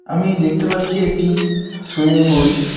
আমি দেখতে পাচ্ছি একটি সুইমিং পুল .